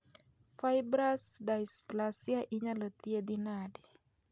Fibrous dysplasia inyalo thiedhi nade